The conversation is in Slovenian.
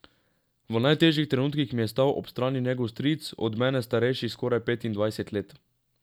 V najtežjih trenutkih mi je stal ob strani njegov stric, od mene starejši skoraj petindvajset let.